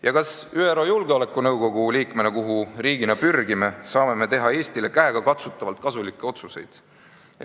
Ja kas ÜRO Julgeolekunõukogu liikmena, kuhu riigina pürgime, saame me teha Eestile käegakatsutavalt kasulikke otsuseid?